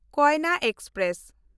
Koyna express